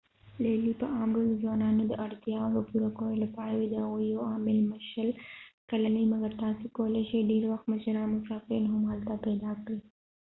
لیلیې په عام ډول د ځوانانو د اړتیاو د پوره کولو لپاره وي ،د هغوي یو عام میلمه شل کلن وي- مګر تاسی کولای شي ډیری وخت مشران مسافرین هم هلته پیدا کړي